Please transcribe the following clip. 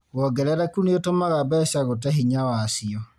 wongerereku nĩũtũmaga mbeca gũte hinya wacio